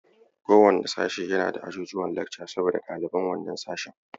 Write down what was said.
Kowanne sashe yana da ajujuwan lekca saboda ɗaliban wannan sashen.